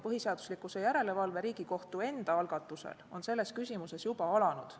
Põhiseaduslikkuse järelevalve on Riigikohtu enda algatusel selles küsimuses juba alanud.